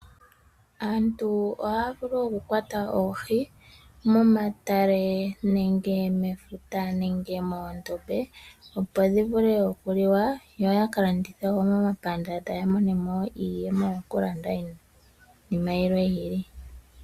Aantu oohaya vulu okukwata oohi momatale, mefuta nenge moondombe opo dhi vule okuliwa yo yaka landithe wo momapandanda ya mone mo iiyemo yokulanda iinima yimwe yi ili.